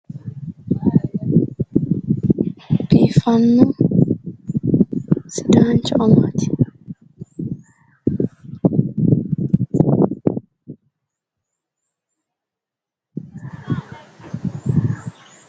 Biiffanno sidaancho amaati.